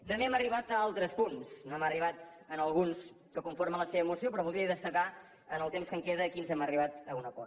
també hem arribat a altres punts no hem arribat en alguns que conformen la seva moció però voldria destacar en el temps que em queda a quins hem arribat a un acord